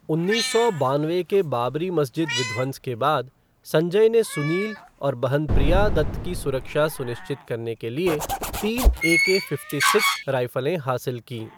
उन्नीस सौ बानवे के बाबरी मस्जिद विध्वंस के बाद, संजय ने सुनील और बहन प्रिया दत्त की सुरक्षा सुनिश्चित करने के लिए तीन ए के फ़िफ़्टी सिक्स राइफलें हासिल कीं।